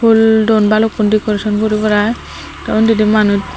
umm don balukkun dekoration guri garai te undi di manuj.